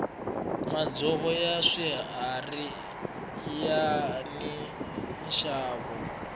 madzovo ya swiharhi yani nxavo